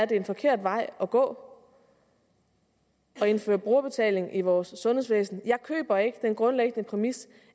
det er en forkert vej at gå at indføre brugerbetaling i vores sundhedsvæsen jeg køber ikke den grundlæggende præmis